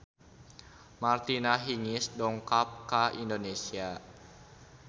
Martina Hingis dongkap ka Indonesia